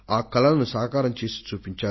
వారు ఆ కలలను నిజం చేసుకొన్నారు కూడా